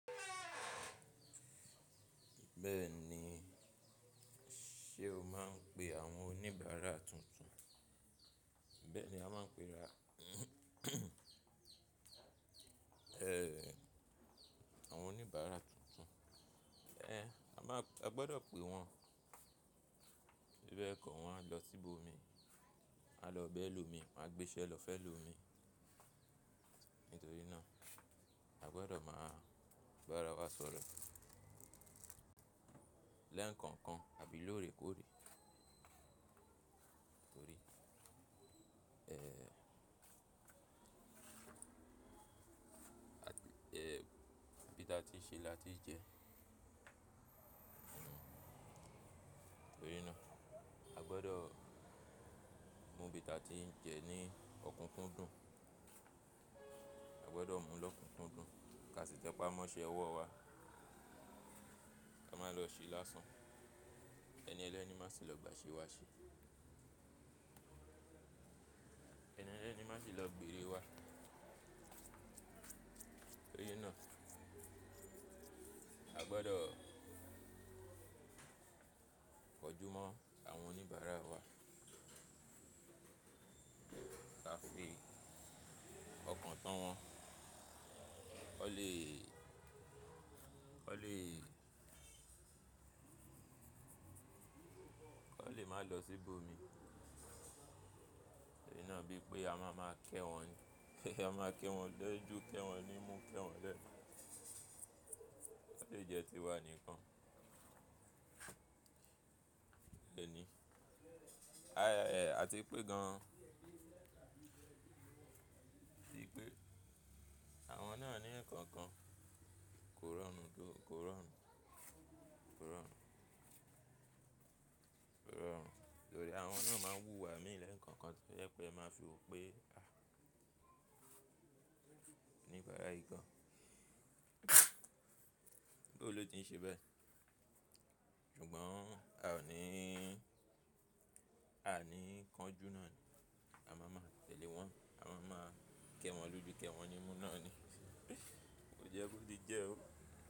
Bẹ́ẹ̀ni, ṣe o máa ń pe àwọn oníbàárà tuntun. Bẹ́ẹ̀ni a máa ń pe ra, àwọn oníbàárà tuntun. Ẹ̀, a máa, a gbọdọ̀ pe wọn, bíbẹ̀ kọ́ wọn á lọ síbò mi, wọn á lọ bá ẹlòmíì, wọn á gbéṣẹ́ lọ fẹ́ lù mi. Nítorí náà, a gbọdọ́ máa bá ara wa sọ̀rọ̀ lẹ́ẹ̀kankan àbí lóòrèkóòrè. Torí, bí tá tíì ń ṣe lati ń jẹ. Nítorí náà, a gbọdọ̀ mú bi ta tí ń jẹ ní ọ̀kunkúndùn. A gbọdọ̀ mú lọ́kunkúndùn, ká sì tẹpá mọ́ṣẹ́ ọwọ́ wa. A máa lọ ṣe lásán. Ẹni ẹlẹ́ni má sì lọ gbà ìṣe wa ṣe. Ẹni ẹlẹ́ni má sì lọ gbèrè wa. Nítorí náà, a gbọdọ̀ kọjúmọ́ àwọn oníbàárà wa, ká fi bí ọkàn tán wọ́n, kán le, kán le, kán le má lọ síbò mi. Nítorí náà bí pé a máa má ké wọn, a máa ké wọn léjú ké wọn ní mú ké wọn lẹ́ẹ̀. Kó le jẹ tiwa nìkan. Lẹ́ẹ̀nì, àti pé gan an ti pé àwọn náà ní ẹ̀kankan kò rọrùn tó, kò rọrùn, kò rọrùn, kò rọrùn. Torí àwọn náà máa ń wúwa míì lẹ̀nkọ́kan tó jẹ pé ẹ máa fi wo pé, àí, oníbàárà yí gan. Bóo ló ti ń ṣe bẹ́ẹ̀? Ṣùgbọ́n a ò ní, a ní kánjú náà ni. A máa máa tẹ̀lé wọn, a máa máa ké wọn lójú ké wọn ní mú náà ni. Kò jẹ́ bó di jẹ́ o.